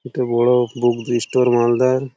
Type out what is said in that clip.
একটা বড়-ও book store মালদার।